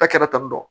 A kɛra tanitɔ